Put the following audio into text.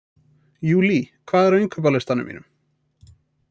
Júlí, hvað er á innkaupalistanum mínum?